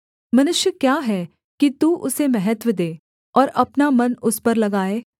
मनुष्य क्या है कि तू उसे महत्त्व दे और अपना मन उस पर लगाए